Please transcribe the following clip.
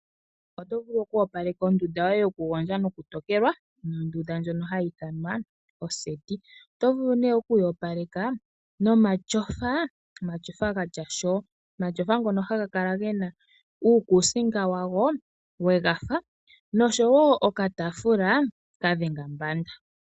Oto vulu okuyopaleka ondunda yoye yokugondja nokutokelwa, ano ondunda ndjono hayi ithanwa oseti. Oto vulu ne oku yi opaleka nomatyofa ,omatyofa gatya shoo. Omatyofa ngono haga kala gena uukusinga wawo we gafa noshowo okataafula kadhenga mbanda.